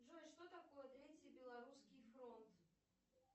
джой что такое третий белорусский фронт